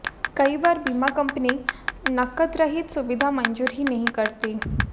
कई बार बीमा कंपनी नकदरहित सुविधा मंजूर ही नहीं करती